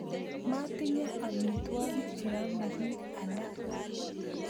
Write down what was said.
Motinye amitwogik cheyome bik alak